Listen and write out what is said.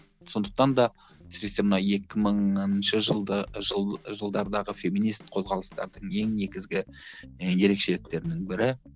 сондықтан да әсіресе мына екі мыңыншы жылды жыл жылдардағы феминист қозғалыстарының ең негізгі і ерекшеліктерінің бірі